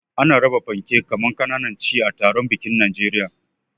Ana raba panke kaman kananan chi a taron bikin Najeriya.